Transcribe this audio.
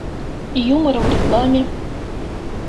юмор в рекламе